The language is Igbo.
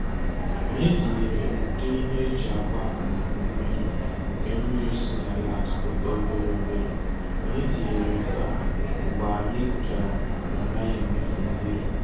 Anyị tinyere udị ihe eji agba akụmakụ mmiri nke mmiri si na ya atụpụta obere obere. Anyị tinyere nke a mgbe anyi gụchara na ọ naghị emefu mmiri